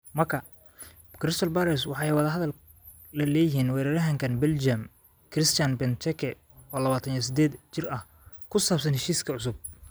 (Marca) Crystal Palace waxay wada hadal la leeyihiin weeraryahanka Beljim Christian Benteke, 28, ku saabsan heshiis cusub.